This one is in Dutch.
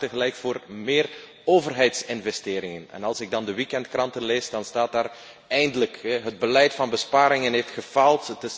Men vraagt tegelijk om meer overheidsinvesteringen en als ik dan de weekendkranten lees, dan staat daar Eindelijk, het beleid van besparingen heeft gefaald.